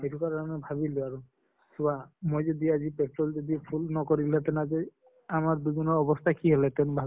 তেনেকুৱা ধৰণে ভাবিলো আৰু পুৱা মই যদি আজি petrol যদি full নকৰিলোঁ হেতেন আজি আমাৰ দুজনৰ অৱস্থা কি হʼল হেতেন